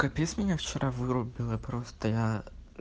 капец меня вчера вырубило просто я